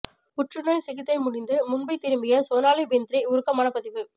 புற்றுநோய் சிகிச்சை முடிந்து மும்பை திரும்பிய சோனாலி பிந்த்ரே உருக்கமான பதிவு